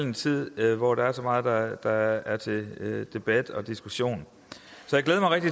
en tid hvor der er så meget der er til debat og diskussion